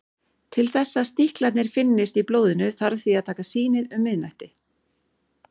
Til þess að sníklarnir finnist í blóðinu þarf því að taka sýnið um miðnætti.